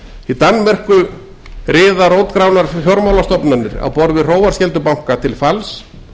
í danmörku riða rótgrónar fjármálastofnanir á borð við hróarskeldubanka til falls